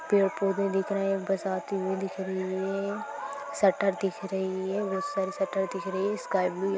पेड़ पौधे दिख रहे है बस आती हुए दिख रही है शटर दिख रही है बहुत सारी शटर दिख रही है स्काय ब्लू --